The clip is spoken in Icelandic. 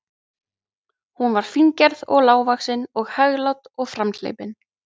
Hún var fíngerð og lágvaxin og hæglát og framhleypin.